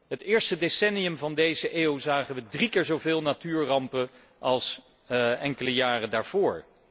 Het eerste decennium van deze eeuw zagen wij drie keer zoveel natuurrampen als enkele jaren daarvoor.